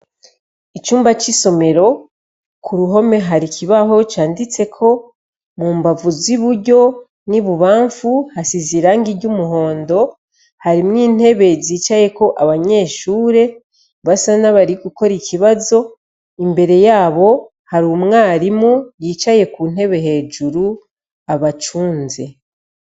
Icumba c'isomero ku ruhome hari ikibaho canditseko mu mbavu zi buryo ni bubamfu hasize irangi ry' umuhondo harimwo intebe zicayeko abanyeshure basa n'abari gukora ikibazo imbere yabo hari umwarimu yicaye ku ntebee hejuru abacunze.